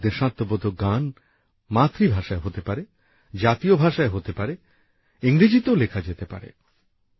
এসব দেশাত্মবোধক গান মাতৃভাষায় হতে পারে জাতীয় ভাষায় হতে পারে ইংরেজিতেও লেখা যেতে পারে